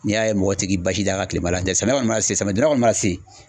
N'i y'a ye mɔgɔ ti k'i basi d'a kan kilema la n tɛ samiya kɔni ma se samiyɛ don da kɔni mana se